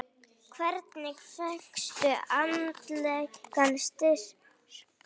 Hvernig fékkstu andlegan styrk?